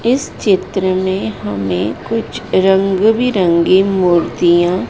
इस चित्र में हमें कुछ रंग बिरंगी मूर्तियाँ--